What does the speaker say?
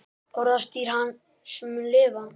Orðstír hans mun lifa.